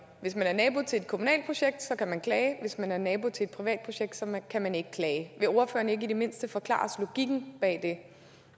hvis man er nabo til et kommunalt projekt kan man klage og at hvis man er nabo til et privat projekt kan man ikke klage vil ordføreren ikke i det mindste forklare os logikken bag det